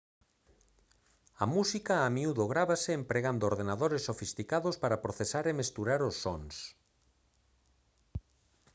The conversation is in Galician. a música a miúdo grávase empregando ordenadores sofisticados para procesar e mesturar os sons